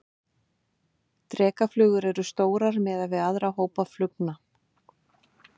Drekaflugur eru stórar miðað við aðra hópa flugna.